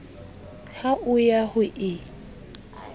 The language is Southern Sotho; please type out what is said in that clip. ha o ya ho e